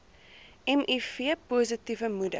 miv positiewe moeder